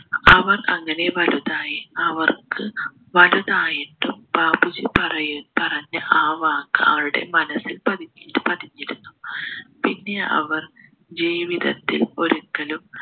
അവർ അങ്ങനെ വലുതായി അവർക്ക് വലുതായിട്ടും ബാപ്പുജി പറയു പറഞ്ഞ ആ വാക്ക് അവരുടെ മനസ്സിൽ പതിഞ്ഞ് പതിഞ്ഞിരുന്നു പിന്നെ അവർ ജീവിതത്തിൽ ഒരിക്കലും